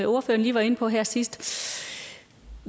ordføreren lige var inde på her sidst